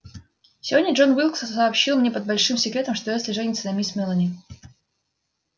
сегодня джон уилкс сообщил мне под большим секретом что эшли женится на мисс мелани